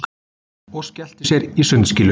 Og skellti sér í sundskýlu.